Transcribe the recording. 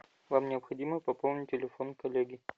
вам необходимо пополнить телефон коллеги